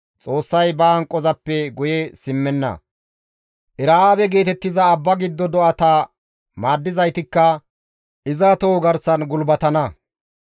Xoossay ba hanqozappe guye simmenna; Era7aabe geetettiza abba giddo do7ata maaddizaytikka iza toho garsan gulbatana.